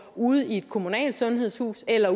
ude i et kommunalt sundhedshus eller